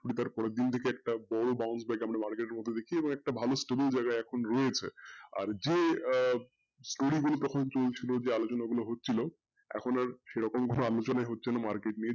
করি তার পরের দিনই দেখি একটা বড় আর যে story গুলো তখন চলছিলো আলোচনা গুলো হচ্ছিলো এখন আর সেরকম কোনো আলোচনাই হচ্ছেনা market নিয়ে,